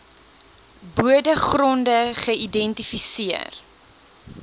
bode gronde geïdentifiseer